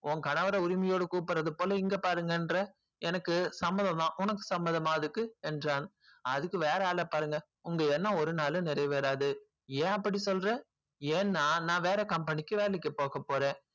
உன் கணவரை உரிமையோடு குப்புறது போல இங்க பாருங்கற எனக்கு சம்மதம் தான் உனக்கு சம்மதமா என்று கேட்டன் அதுக்கு வேற ஆள பாருங்க உங்க எண்ணம் யரினாலும் நிறைவேறாது என் அப்டி சொல்ற என்ன நா நா வேற company க்கு வேலைக்கு போக போறன்